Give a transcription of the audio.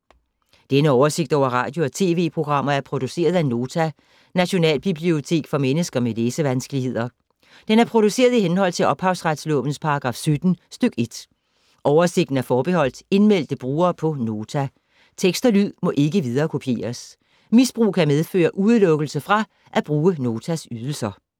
Denne oversigt over radio og TV-programmer er produceret af Nota, Nationalbibliotek for mennesker med læsevanskeligheder. Den er produceret i henhold til ophavsretslovens paragraf 17 stk. 1. Oversigten er forbeholdt indmeldte brugere på Nota. Tekst og lyd må ikke viderekopieres. Misbrug kan medføre udelukkelse fra at bruge Notas ydelser.